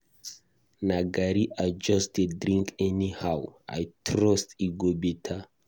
Na garri I just dey drink anyhow, I trust e go beta